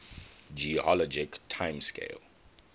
geologic time scale